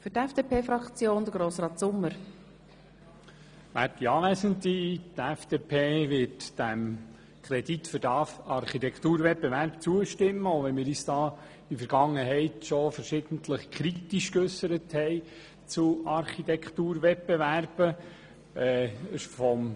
Die FDP wird dem Kredit für den Architekturwettbewerb zustimmen, auch wenn wir uns in der Vergangenheit verschiedentlich schon kritisch zu Architekturwettbewerben geäussert haben.